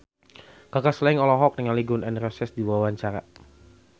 Kaka Slank olohok ningali Gun N Roses keur diwawancara